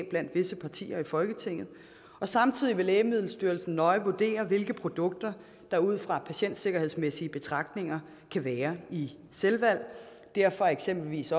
blandt visse partier i folketinget samtidig vil lægemiddelstyrelsen nøje vurdere hvilke produkter der ud fra patientsikkerhedsmæssige betragtninger kan være i selvvalg derfor er eksempelvis